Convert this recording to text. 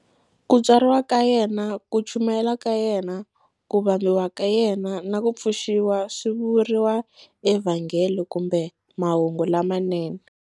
Ku tswariwa ka yena, ku chumayela ka yena, ku vambiwa ka yena, na ku pfuxiwa swi vuriwa eVhangeli kumbe Mahungu lamanene.